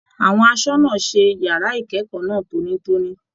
Àwọn asọna ṣe yàrá ikẹkọọ náà tónítóní.